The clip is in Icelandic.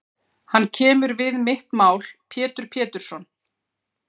Hann kemur við mitt mál Pétur Pétursson.